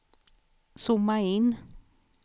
zooma in